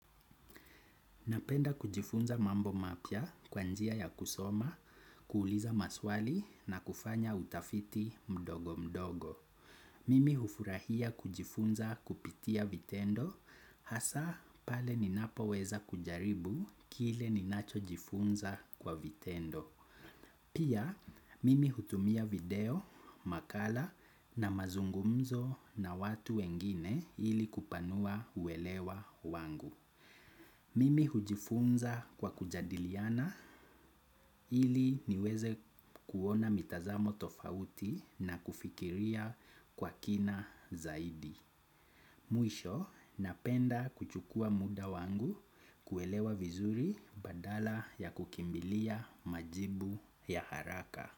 Napenda kujifunza mambo mapya kwa njia ya kusoma, kuuliza maswali na kufanya utafiti mdogo mdogo. Mimi hufurahia kujifunza kupitia vitendo hasa pale ninapo weza kujaribu kile ninacho jifunza kwa vitendo. Pia mimi hutumia video, makala na mazungumzo na watu wengine ili kupanua uelewa wangu. Mimi hujifunza kwa kujadiliana iliniweze kuona mitazamo tofauti na kufikiria kwa kina zaidi. Mwisho napenda kuchukua muda wangu kuelewa vizuri badala ya kukimbilia majibu ya haraka.